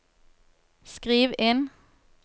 skriv inn